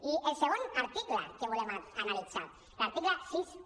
i el segon article que volem analitzar l’article seixanta un